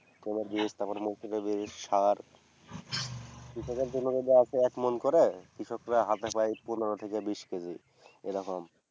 কোনও দিকে আবার দেবে সার। কৃষকের জন্য দেওয়া আছে একমন করে কৃষকরা হাতে পায় পনের থেকে বিশ কেজি। এরকম।